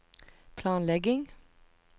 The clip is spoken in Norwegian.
planlegging